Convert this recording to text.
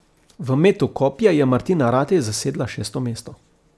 V metu kopja je Martina Ratej zasedla šesto mesto.